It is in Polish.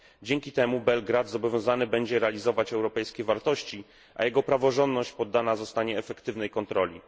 Dzięki temu Belgrad zobowiązany będzie do realizowania europejskich wartości, a jego praworządność poddana zostanie efektywnej kontroli.